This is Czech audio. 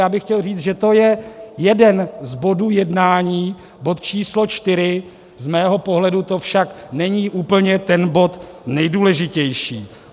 Já bych chtěl říct, že to je jeden z bodů jednání, bod číslo 4, z mého pohledu to však není úplně ten bod nejdůležitější.